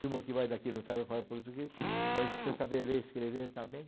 Turma que vai daqui não sabe falar português, mas precisa saber ler e escrever também.